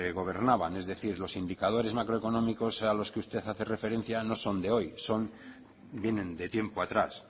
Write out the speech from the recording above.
gobernaban es decir los indicadores macroeconómicos a los que usted hace referencia no son de hoy son vienen de tiempo atrás